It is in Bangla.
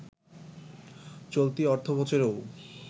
চলতি অর্থবছরেও